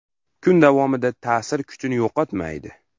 Kun davomida ta’sir kuchini yo‘qotmaydi.